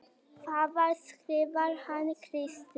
Þaðan skrifar hann Kristínu